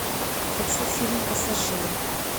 хочу фильм пассажиры